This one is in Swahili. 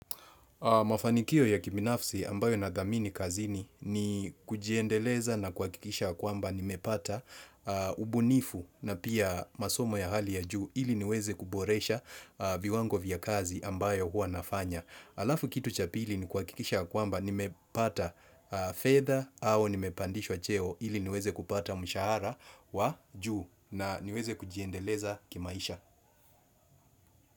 Mafanikio ya kibinafsi ambayo nadhamini kazini ni kujiendeleza na kuakikisha kwamba nimepata ubunifu na pia masomo ya hali ya juu ili niweze kuboresha viwango vya kazi ambayo hua nafanya. Alafu kitu cha pili ni kuakikisha kwamba nimepata fedha au nimepandishwa cheo ili niweze kupata mshahara wa juu na niweze kujiendeleza kimaisha.